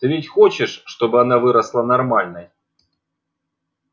ты ведь хочешь чтобы она выросла нормальной